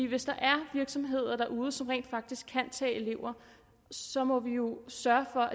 hvis der er virksomheder derude som rent faktisk kan tage elever så må vi jo sørge for